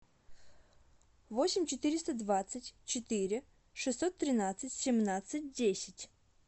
восемь четыреста двадцать четыре шестьсот тринадцать семнадцать десять